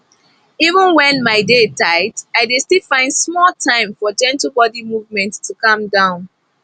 even when my day tight i dey still find small time for gentle body movement to calm down